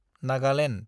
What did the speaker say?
Nagaland